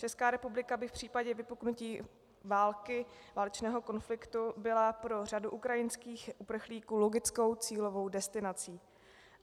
Česká republika by v případě vypuknutí války, válečného konfliktu, byla pro řadu ukrajinských uprchlíků logickou cílovou destinací.